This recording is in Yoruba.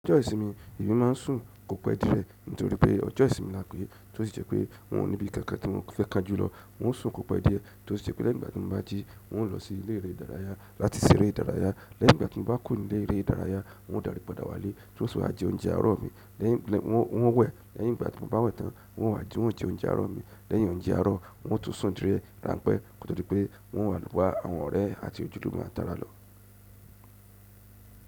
Ọjọ́ ìsinmi èmi máa ń sùn kò pẹ́ dí ẹ̀ nítorí pé ọjọ́ ìsinmi la pẹ́, tí ó sì jẹ́ pé hun o ní ibi kankan tí mo fẹ́ kánjù lọ. Hun ó sùn kò pẹ́ díẹ̀ tí ó sì jẹ́ pé lẹ́yìn ìgbà tí mo bá jí hun ó lọ sí ilé eré ìdárayá láti ṣeré ìdárayá. Lẹ́yìn ìgbà tí mo bá kùro n'ilé eré ìdárayá, hun ó darí padà wálé tí hun o sì wá jẹ oúnjẹ àárọ̀ mi. Lẹ́yìn, hun o wẹ̀, lẹ́yìn ìgbà tí mo bá wẹ̀ tán hun o wá jẹ oúnjẹ àárọ̀ mi. Lẹ́yìn oúnjẹ àárọ̀, hun o tún sùn díẹ̀ ránpé ko to di pé, hun o wà lowà àwọn ọ̀rẹ́ àti òjúlúmo mi a tara lọ.